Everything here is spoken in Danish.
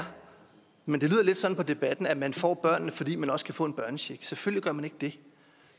men det lyder lidt sådan på debatten at man får børnene fordi man også kan få en børnecheck selvfølgelig gør man ikke det